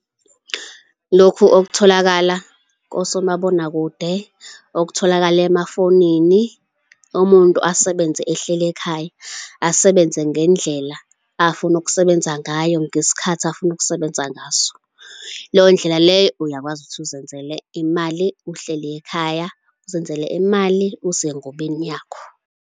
Lokhu okutholakala kosomabonakude, okutholakala emafonini, umuntu asebenze ehleli ekhaya, asebenze ngendlela afuna ukusebenza ngayo ngesikhathi afuna ukusebenza ngaso. Leyo ndlela leyo, uyakwazi ukuthi uzenzele imali uhleli ekhaya, uzenzele imali usengubeni yakho.